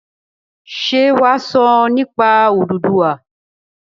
Ṣé wà á sọ nípa Odùduwà?